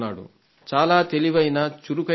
చాలా తెలివైన చురుకైనవాడు